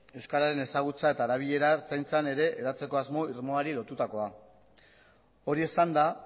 euskararen ezagutza eta erabilera ertzaintzan ere hedatzeko asmo irmoari lotutakoa hori esanda